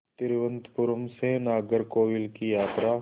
तिरुवनंतपुरम से नागरकोविल की यात्रा